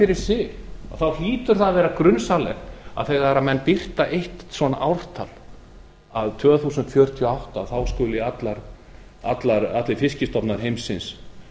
fyrir sig hlýtur að vera grunsamlegt þegar menn birta eitt svona ártal að tvö þúsund fjörutíu og átta muni allir fiskstofnar heimsins